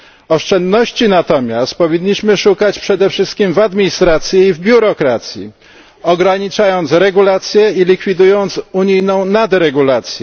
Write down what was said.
Oszczędności natomiast powinniśmy szukać przede wszystkim w administracji i biurokracji, ograniczając regulacje i likwidując unijną nadregulację.